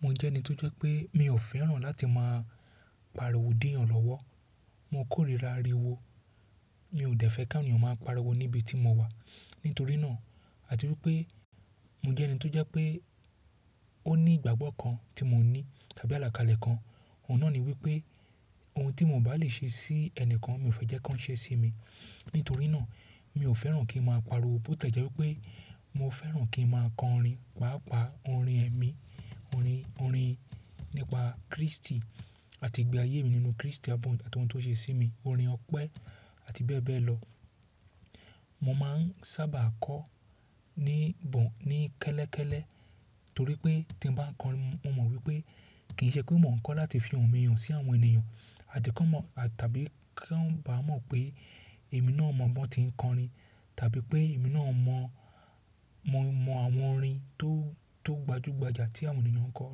Mo jẹ́ ẹni tó jẹ́ pé mi ò fẹ́ràn láti máa pariwo dí ẹ̀yàn lọ́wọ́. Mo kórìíra ariwo. Mi ò dẹ́ fẹ́ kawon ènìyàn máa pariwo níbi tí mo wà. Nítorí náà, àti wípé mo jẹ́ ẹni tó jẹ́ pé ó ní ìgbàgbọ́ kan tí mo ní tàbí àlàkalẹ̀ kan. Òun náà ni wípé ohun tí mo bá lè ṣe sí ẹni kan, mi ò fẹ́ jẹ́ kí wọ́n ṣe sí mi. Nítorí náà, mi ò fẹ́ràn kí n máa pariwo bó tie jẹ́ wípé mo fẹ́ràn kí n máa kọ orin, pàápàá orin ẹ̀mí, orin, orin nípa Kristi àti ìgbé ayé mi nínú Kristi, àbi ohun táwọn tó ṣe sí mi, orin ọpẹ́ àti bẹ́ẹ̀ bẹ́ẹ̀ lọ. Mo máà ń sábà kọ ní gbọn, ní kẹ́lẹ́kẹ́lẹ́ torí pé tí n bá kọ orin mo mọ̀ wípé kì í ṣe pé mò ń kọ láti fi ohùn mi hàn sí àwọn ènìyàn àti kí wọ́n mọ̀ tàbí kí wọ́n bá mọ̀ pé èmi náà mọ̀ biwon ti ń kọ orin tàbí pé èmi náà mọ̀, mo mọ àwọn orin tó gbajúgbajà tí àwọn ènìyàn kọ.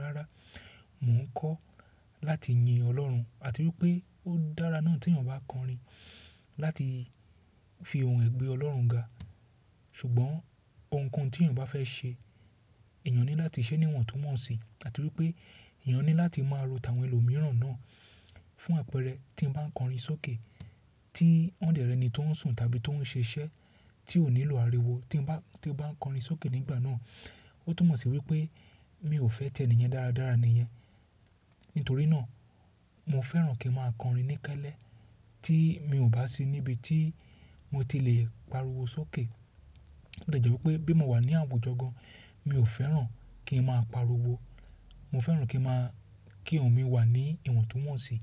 Rárá, mò ń kọ láti yin Ọlọ́run àti wípé ó dára náà tí èèyàn bá kọ orin láti fi ohùn rẹ̀ gbé Ọlọ́run ga. Ṣùgbọ́n ohunkóhun tí èèyàn bá fẹ́ ṣe, èèyàn ní láti ṣẹ́ ní ìwọ̀ntúnwọ̀nsì àti wípé èèyàn ní láti máa ro tàwọn ẹlòmíràn náà fún àpẹẹrẹ tí ń bá kọ orin sókè tí won de re ni tó ń sùn tàbí tó ń ṣiṣẹ́ tí ò nílò ariwo tí ó bá ń kọ orin sókè nígbà náà. Ó túmọ̀ sí wípé mi ò fẹ́ tẹnìyàn dáradára níyẹn. Nítorí náà, mo fẹ́ràn kí n máa kọ orin ní kẹ́lẹ́ tí mi ò bá sí níbi tí mo ti le pariwo sókè. Ó de jẹ́ wípé bí mo wà ní àwùjọ gan, mi ò fẹ́ràn kí n máa pariwo. Mo fẹ́ràn kí n máa, kí ohùn mi wà ní ìwọ̀ntúnwọ̀nsì.